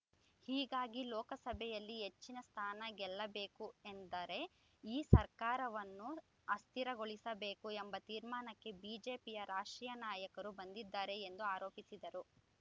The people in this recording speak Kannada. ಹೀಗಾಗಿ ಲೋಕಸಭೆಯಲ್ಲಿ ಹೆಚ್ಚಿನ ಸ್ಥಾನ ಗೆಲ್ಲಬೇಕು ಎಂದರೆ ಈ ಸರ್ಕಾರವನ್ನು ಅಸ್ಥಿರಗೊಳಿಸಬೇಕು ಎಂಬ ತೀರ್ಮಾನಕ್ಕೆ ಬಿಜೆಪಿಯ ರಾಷ್ಟ್ರೀಯ ನಾಯಕರು ಬಂದಿದ್ದಾರೆ ಎಂದು ಆರೋಪಿಸಿದರು